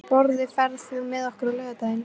Sporði, ferð þú með okkur á laugardaginn?